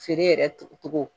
Feere yɛrɛ tugu togo